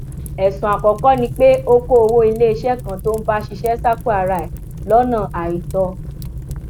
ẹsùn àkọkọ ni pé ó kó owó iléeṣẹ kan tó ń bá ṣiṣẹ sápò ara ẹ lọnà àìtọ